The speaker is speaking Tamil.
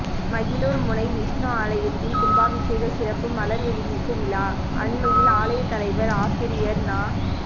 மகிழூர் முனை விஷ்ணு ஆலயத்தின் கும்பாபிஷேக சிறப்பு மலர் வெளியீட்டு விழா அண்மையில் ஆலயத் தலைவர் ஆசிரியர் நா